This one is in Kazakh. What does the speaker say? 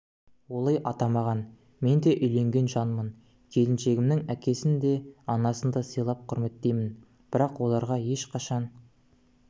олай атамаған менде үйленген жанмын келіншегімнің әкесін де анасын да сыйлап құрметтеймін бірақ оларға ешқашан